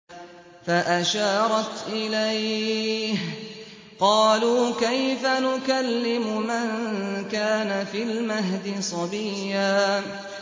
فَأَشَارَتْ إِلَيْهِ ۖ قَالُوا كَيْفَ نُكَلِّمُ مَن كَانَ فِي الْمَهْدِ صَبِيًّا